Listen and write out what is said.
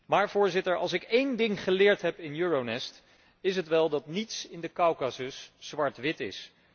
Maar, Voorzitter, als ik één ding geleerd heb in Euronest, is het wel dat niets in de Kaukasus zwart wit is.